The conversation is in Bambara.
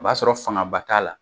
O b'a sɔrɔ fangaba t'a la.